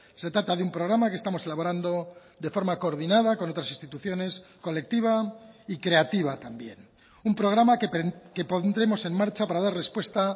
se trata de un programa que estamos elaborando de forma coordinada con otras instituciones colectiva y creativa también un programa que pondremos en marcha para dar respuesta